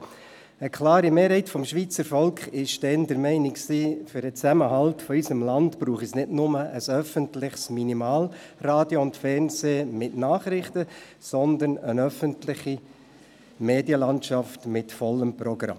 Eine klare Mehrheit des Schweizer Volks war damals der Meinung, für den Zusammenhalt unseres Landes brauche es nicht nur ein öffentliches Minimalradio und -fernsehen mit Nachrichten, sondern eine öffentliche Medienlandschaft mit vollem Programm.